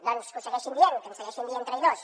doncs que ho segueixin dient que ens segueixin dient traïdors